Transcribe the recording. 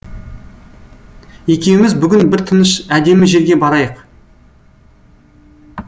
екеуіміз бүгін бір тыныш әдемі жерге барайық